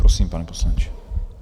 Prosím, pane poslanče.